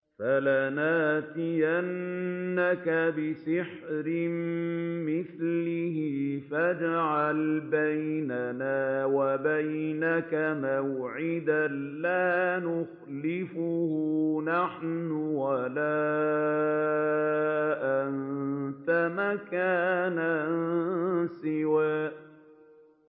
فَلَنَأْتِيَنَّكَ بِسِحْرٍ مِّثْلِهِ فَاجْعَلْ بَيْنَنَا وَبَيْنَكَ مَوْعِدًا لَّا نُخْلِفُهُ نَحْنُ وَلَا أَنتَ مَكَانًا سُوًى